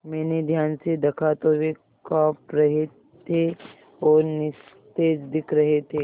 मैंने ध्यान से दखा तो वे काँप रहे थे और निस्तेज दिख रहे थे